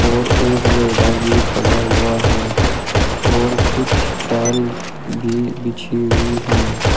और एक रेडा भी खड़ा हुआ है और कुछ टाइल भी बिछी हुई हैं।